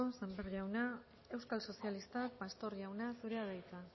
sémper jauna euskal sozialistak pastor jauna zurea da hitza